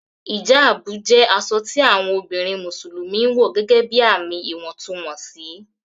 Hijabu jẹ aṣọ tí awọn obìnrin Musulumi ǹwọ̀ gẹ́gẹ́bí ààmì ìwọ̀ntúnwọnsì